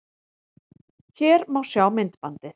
Hér má sjá myndbandið